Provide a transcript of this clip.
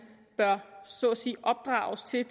bør så at sige opdrages til